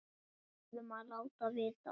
Við verðum að láta vita.